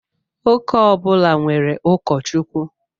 Ụka ọbula nwèrè ukọchukwu.